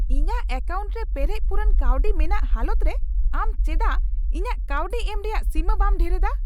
ᱤᱧᱟᱜ ᱮᱠᱟᱣᱩᱱᱴ ᱨᱮ ᱯᱮᱨᱮᱡ ᱯᱩᱨᱩᱱ ᱠᱟᱹᱣᱰᱤ ᱢᱮᱱᱟᱜ ᱦᱟᱞᱚᱛ ᱨᱮ ᱟᱢ ᱪᱮᱰᱟᱜ ᱤᱧᱟᱜ ᱠᱟᱹᱣᱰᱤ ᱮᱢ ᱨᱮᱭᱟᱜ ᱥᱤᱢᱟᱹ ᱵᱟᱢ ᱰᱷᱮᱨᱮᱫᱟ ?